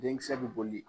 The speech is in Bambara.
Denkisɛ bɛ boli